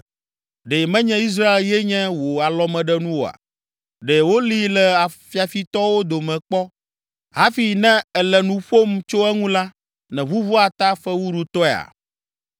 Ɖe menye Israel ye nye wò alɔmeɖenu oa? Ɖe wolée le fiafitɔwo dome kpɔ hafi ne èle nu ƒom tso eŋu la, nèʋuʋua ta fewuɖutɔea?